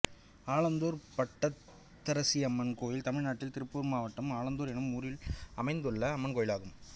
ஆலத்தூர் பட்டத்தரசியம்மன் கோயில் தமிழ்நாட்டில் திருப்பூர் மாவட்டம் ஆலத்தூர் என்னும் ஊரில் அமைந்துள்ள அம்மன் கோயிலாகும்